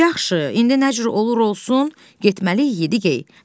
Yaxşı, indi nə cür olur olsun, getməliyik, Yediyey.